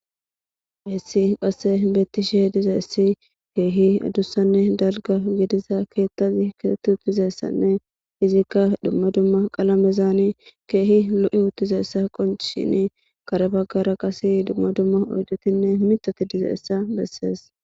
heessi phasse beettisheh dizeessi keehi adussanne dalga gidiza keettazi keetti uttizeessanne izikka dumma dumma qalamezani keehi lo7i uttizeessa qonc shini karabaggara qase dumma dumma oydotinne mitoti dizeessa bessees.